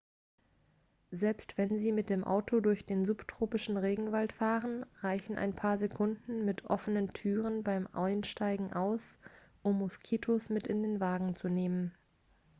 selbst wenn sie mit dem auto durch den subtropischen regenwald fahren reichen ein paar sekunden mit offenen türen beim einsteigen aus um moskitos mit in den wagen zu nehmen